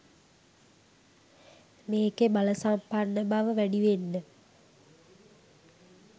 මේකෙ බලසම්පන්න බව වැඩිවෙන්න